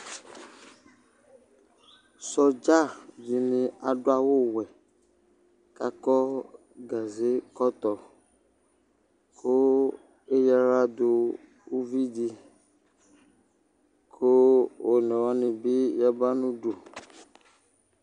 sɔdza di ni adu awu wɛ k'akɔ gaze kɔtɔ kò eya ala do uvi di kò one wani bi ya ba n'udu